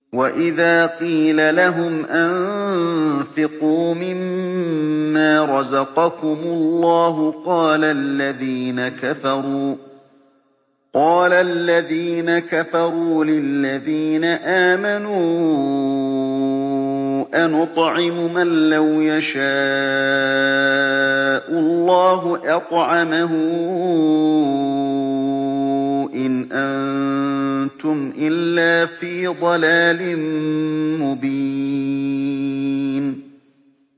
وَإِذَا قِيلَ لَهُمْ أَنفِقُوا مِمَّا رَزَقَكُمُ اللَّهُ قَالَ الَّذِينَ كَفَرُوا لِلَّذِينَ آمَنُوا أَنُطْعِمُ مَن لَّوْ يَشَاءُ اللَّهُ أَطْعَمَهُ إِنْ أَنتُمْ إِلَّا فِي ضَلَالٍ مُّبِينٍ